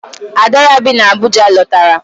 Ada ya bi n'Abuja lọtara.